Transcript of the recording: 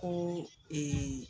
Ko